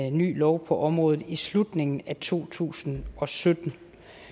en ny lov på området i slutningen af to tusind og sytten